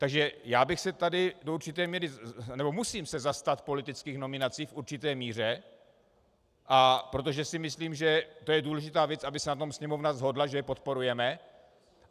Takže já bych se tady do určité míry... nebo musím se zastat politických nominací v určité míře, protože si myslím, že to je důležitá věc, aby se na tom Sněmovna shodla, že je podporujeme.